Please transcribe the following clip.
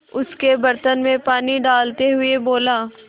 उसके बर्तन में पानी डालते हुए बोला